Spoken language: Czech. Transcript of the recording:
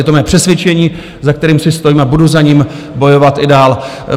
Je to mé přesvědčení, za kterým si stojím, a budu za něj bojovat i dál.